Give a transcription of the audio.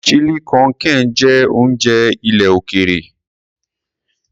Chili con carne jẹ́ oúnjẹ ilẹ̀ òkèèrè.